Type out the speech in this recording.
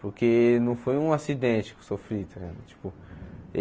Porque não foi um acidente que eu sofri. Tá ligado tipo